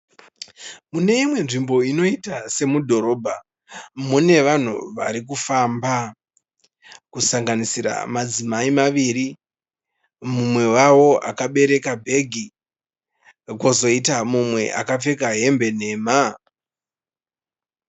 Mune imwe nzvimbo inoita semudhorobha. Mune vanhu varikufamba kusanganisira madzimai maviri. Mumwe wavo akabereka bhegi kwozoita mumwe akapfeka hembe nhema.